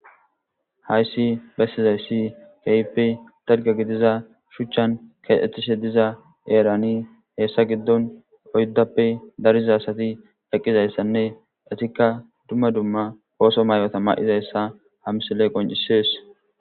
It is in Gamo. hayssi bessizayssi keeyppe targa gidiza shuchchan keetishe diza eerani heessa giddon oyddappe dariza asati eqqizayssanne etikka dumma dumma ooso may7ota ma7izayssa hamsile qoncisees